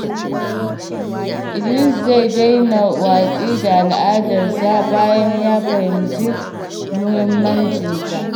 Idris zai daina watsi da al’adarsa bayan ya fahimci muhimmancinta.